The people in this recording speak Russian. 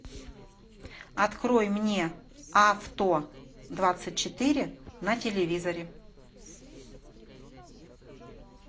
открой мне авто двадцать четыре на телевизоре